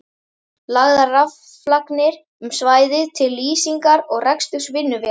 Lagðar raflagnir um svæðið til lýsingar og reksturs vinnuvéla.